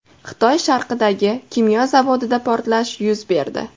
Xitoy sharqidagi kimyo zavodida portlash yuz berdi.